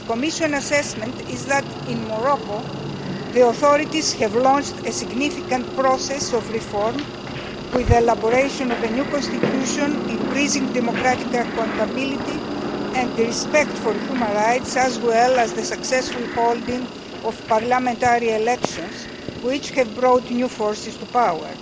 The Commission assessment is that, in Morocco, the authorities have launched a significant process of reform with the elaboration of a new constitution, increasing democratic accountability and respect for human rights as well as the successful holding of parliamentary elections which have brought new forces to power.